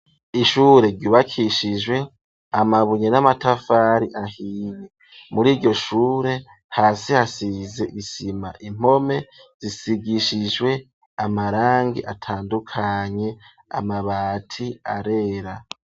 Ishure ryubakishijwe amabunye n'amatafari ahiye mur'iryoshure hasi hasize isima impome zisigishijwe amarangi atandukanye amabati arera.